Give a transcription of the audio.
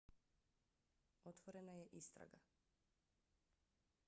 otvorena je istraga